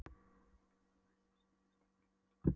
Má þá greinilega sjá bæði staðsetningu og styrk einstakra hvera.